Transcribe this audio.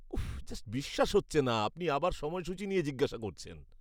উফফ, just বিশ্বাস হচ্ছে না আপনি আবার সময়সূচী নিয়ে জিজ্ঞাসা করছেন!